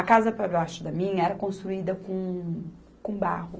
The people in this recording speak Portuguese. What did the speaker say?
A casa para baixo da minha era construída com, com barro.